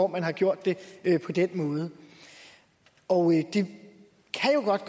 man har gjort det på den måde og det kan jo godt